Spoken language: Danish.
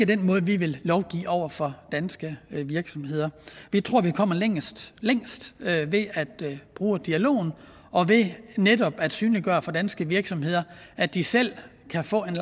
den måde vi vil lovgive over for danske virksomheder vi tror vi kommer længst længst ved at bruge dialog og ved netop at synliggøre for danske virksomheder at de selv kan få en